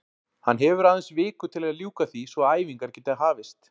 Hann hefur aðeins viku til að ljúka því svo að æfingar geti hafist.